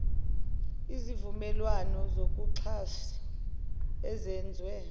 izivumelwane zokuxhasa ezenzwe